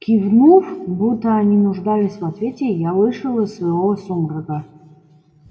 кивнув будто они нуждались в ответе я вышел из своего сумрака